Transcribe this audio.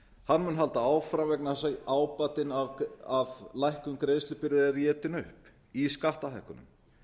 mun halda áfram vegna þess að ábatinn af lækkun greiðslubyrði er étinn upp í skattahækkunum